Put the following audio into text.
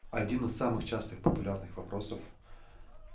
один из самых частых популярных вопросов